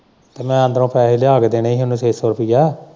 ਮੈਂ ਅੰਦਰੋਂ ਪੈਸੇ ਲਿਆ ਕੇ ਦੇਣੇ ਸੀ ਇਹਨੂੰ ਛੇ ਸੌ ਰੁਪਇਆ।